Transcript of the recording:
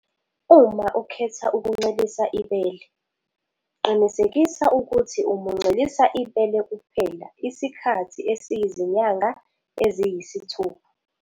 Uma ukhetha ukuncelisa ibele, qinisekisa ukuthi umuncelisa ibele kuphela isikhathi esiyizinyanga eziyisithupha.